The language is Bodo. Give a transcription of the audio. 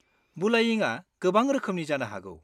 बुलायिंआ गोबां रोखोमनि जानो हागौ।